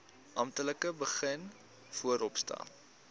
amptelik begin vooropstel